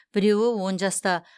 біреуі он жаста